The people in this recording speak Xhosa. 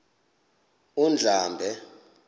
undlambe